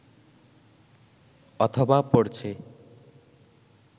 অথবা পড়ছে